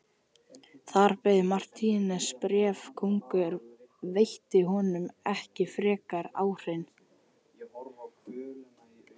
Þar beið Marteins bréf, konungur veitti honum ekki frekari áheyrn.